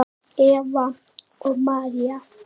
Eva og María.